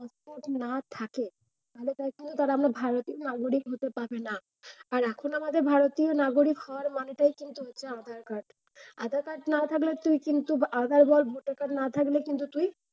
না থাকে তাহলে দেখা যায় তারা ভারতীয় নাগরিক হতে পারবে না। আর এখন আমাদের ভারতীয় নাগরিক হওয়ার মানেটা হচ্ছে কিন্তু আধার-কার্ড। আধার-কার্ড না থাকলে তুই কিন্তু আধার বল voter card না থাকলে কিন্তু তুই,